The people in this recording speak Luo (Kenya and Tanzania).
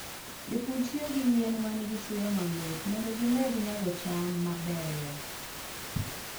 Jopur tiyo gi yien ma nigi suya mamit mondo gimed nyago cham mabeyo.